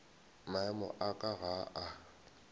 maemo a ka ga a